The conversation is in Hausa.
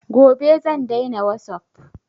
Gobe zan daina wasup